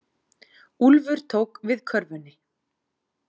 Úlfur tók við körfunni.